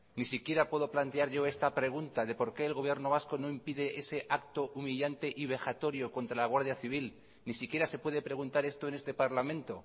ni siquiera puedo plantear yo esta pregunta de por qué el gobierno vasco no impide ese acto humillante y vejatorio contra la guardia civil ni siquiera se puede preguntar esto en este parlamento